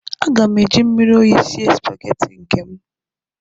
Aga m eji mmiri oyi sie spaghetti nke m